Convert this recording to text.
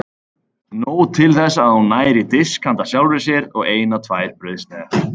Nóg til þess að hún nær í disk handa sjálfri sér og eina tvær brauðsneiðar.